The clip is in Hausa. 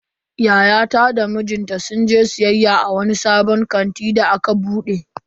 Yayata da mijinta sun je siyayya a wani sabon kanti da aka bude.